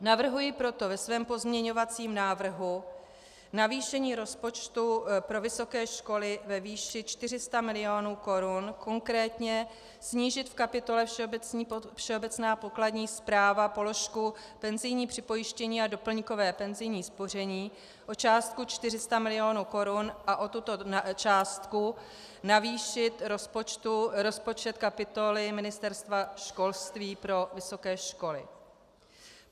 Navrhuji proto ve svém pozměňovacím návrhu navýšení rozpočtu pro vysoké školy ve výši 400 milionů korun, konkrétně snížit v kapitole Všeobecná pokladní správa položku penzijní připojištění a doplňkové penzijní spoření o částku 400 milionů korun a o tuto částku navýšit rozpočet kapitoly Ministerstva školství pro vysoké školy.